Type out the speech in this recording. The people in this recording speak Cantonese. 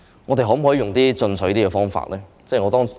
我們可否採用更進取的方法？